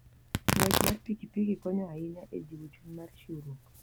Ng'wech mar pikipiki konyo ahinya e jiwo chuny mar chiwruok.